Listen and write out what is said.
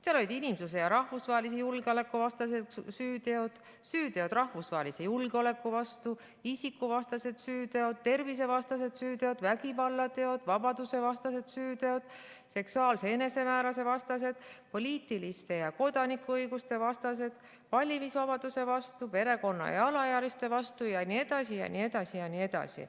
Seal olid inimsuse- ja rahvusvahelise julgeoleku vastased süüteod, süüteod rahvusvahelise julgeoleku vastu, isikuvastased süüteod, tervisevastased süüteod, vägivallateod, vabadusevastased süüteod, seksuaalse enesemääramise vastased, poliitiliste ja kodanikuõiguste vastased, valimisvabaduse vastu, perekonna ja alaealiste vastu jne, jne, jne.